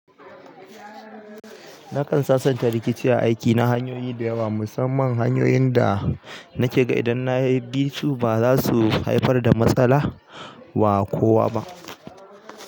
Nakan sasanta rikici a aikina hanyoyi da yawa, musamman hanyoyin da nake ga idan na bi su ba za su haifar da matsala wa kowa ba.